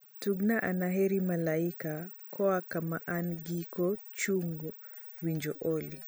tugna anaheri malaika koa kama an giko chung winjo olly